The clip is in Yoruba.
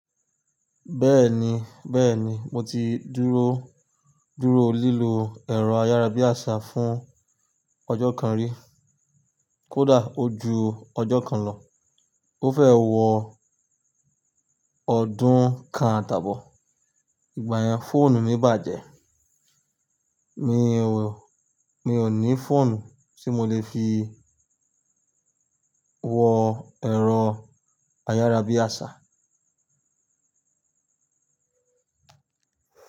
Bẹ́ẹ̀ni, bẹ́ẹ̀ni mo ti dúró, dúró lílo ẹ̀rọ ayárabíàṣá fún ọjọ́ kan rí. Kódà ó ju ọjọ́ kan lọ. Ó fẹ́ wọ ọdún kan àtàbọ̀, ìgbà yẹn fóònù mi bàjẹ́. Mi ò, mi ò ní fóònù tí mo lè fi wọ ẹ̀rọ ayárabíàṣá.